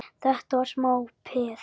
Þetta var smá peð!